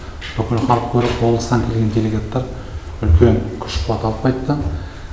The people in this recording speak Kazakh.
бүкіл халық көріп облыстан келген делегаттар үлкен күш қуат алып қайтты